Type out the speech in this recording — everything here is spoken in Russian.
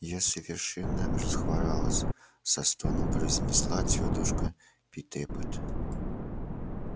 я совершенно расхворалась со стоном произнесла тётушка питтэпит